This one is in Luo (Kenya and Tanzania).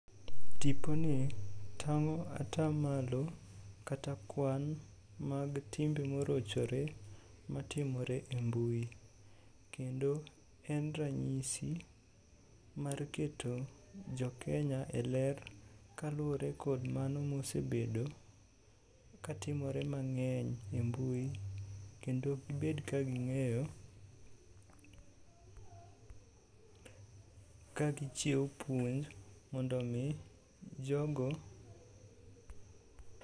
Tiponi tang'o atamalo kata kwan mag timbe morochore matimore e mbui. Kendo en ranyisi mar keto jokenya e ler kaluwre kod mano mosebedo katimore mang'eny e mbui, kendo gibed ka ging'eyo kagichiwo puonj mondo omi jogo..